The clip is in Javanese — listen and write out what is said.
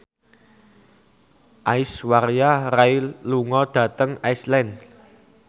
Aishwarya Rai lunga dhateng Iceland